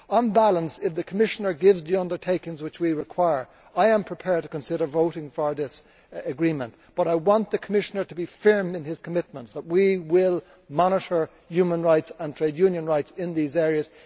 On balance, if the Commissioner gives the undertakings which we require, I am prepared to consider voting for this agreement, but I want the Commissioner to be firm in his commitment that we will monitor human rights and trade union rights in these areas.